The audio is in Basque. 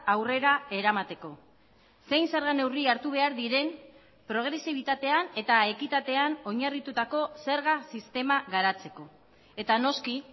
aurrera eramateko zein zerga neurri hartu behar diren progresibitatean eta ekitatean oinarritutako zerga sistema garatzeko eta noski